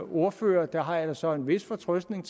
ordførere der har jeg da så en vis fortrøstning